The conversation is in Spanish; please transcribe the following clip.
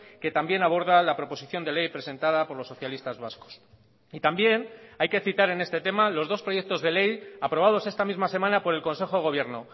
que también aborda la proposición de ley presentada por los socialistas vascos y también hay que citar en este tema los dos proyectos de ley aprobados esta misma semana por el consejo de gobierno